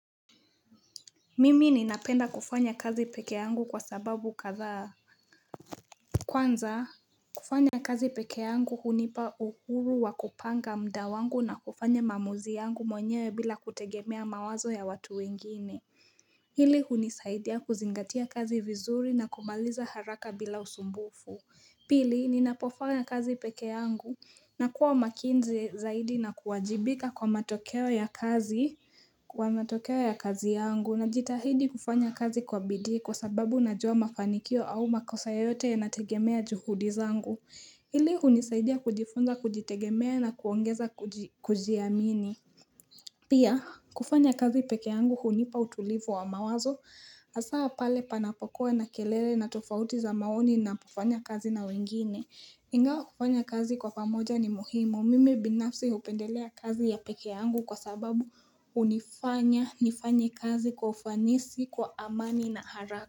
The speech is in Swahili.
Mimi ninapenda kufanya kazi peke yangu kwa sababu kathaa Kwanza kufanya kazi pekee yangu hunipa uhuru wa kupanga muda wangu na kufanya mamuzi yangu mwenyewe bila kutegemea mawazo ya watu wengine Hili hunisaidia kuzingatia kazi vizuri na kumaliza haraka bila usumbufu Pili ninapofanya kazi peke yangu na kuwa makinzi zaidi na kuwajibika kwa matokeo ya kazi, kwa matokeo ya kazi yangu najitahidi kufanya kazi kwa bidi kwa sababu na jua mafanikio au makosa yote ya nategemea juhudi zangu. Ili hunisaidia kujifunza kujitegemea na kuongeza kujiamini. Pia, kufanya kazi peke yangu hunipa utulivu wa mawazo, hasaa pale panapokoe na kelele na tofauti za maoni napofanya kazi na wengine. Ingawa kufanya kazi kwa pamoja ni muhimu. Mimi binafsi hupendelea kazi ya peke yangu kwa sababu hunifanya nifanye kazi koufanisi kwa amani na haraka.